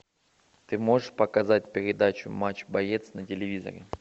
ты можешь показать передачу матч боец на телевизоре